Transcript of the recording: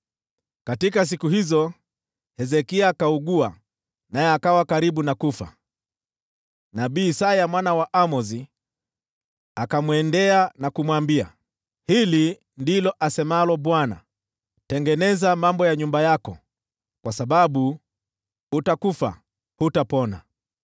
Katika siku hizo Hezekia akaugua, naye akawa karibu kufa. Nabii Isaya mwana wa Amozi akaenda kwake na kumwambia, “Hili ndilo asemalo Bwana : Tengeneza mambo ya nyumba yako, kwa sababu utakufa, hutapona.”